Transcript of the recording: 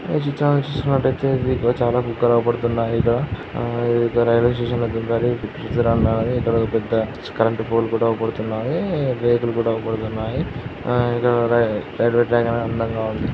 ఇక్కడ చూసుకున్నట్టయితే దీంట్లో చాలా కుక్కలు అవుపడుతున్నాయి. ఇక్కడ రైల్వే స్టేషన్ లో ఇక్కడో ఒక పెద్ద కరెంటు పోల్ కూడా అవుపడుతున్నాయి. వెహికల్ కూడా అవుపడుతున్నాయి అండ్ ఇక్కడ రైల్వే ట్రాక్ అందంగా ఉంది